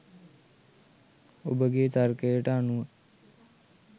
ඔබගේ තර්කයට අනුව